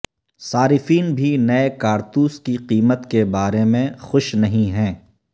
صارفین بھی نئے کارتوس کی قیمت کے بارے میں خوش نہیں ہیں